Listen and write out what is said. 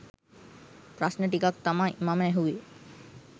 ප්‍රශ්න ටිකක් තමයි මම ඇහුවේ.